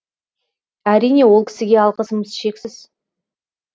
әрине ол кісіге алғысым шексіз